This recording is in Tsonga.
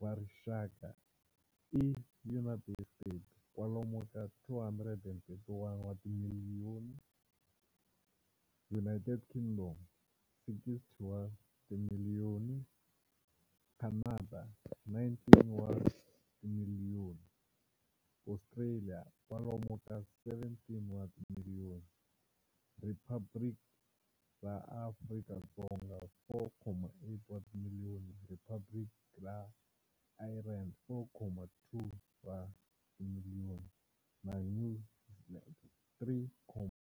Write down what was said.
va rixaka i United States, kwalomu ka 231 wa timiliyoni, United Kingdom, 60 wa timiliyoni, Canada, 19 wa timiliyoni, Australia, kwalomu ka 17 wa timiliyoni, Riphabliki ra Afrika-Dzonga, 4.8 wa timiliyoni, Riphabliki ra Ireland, 4.2 wa timiliyoni, na New Zealand, 3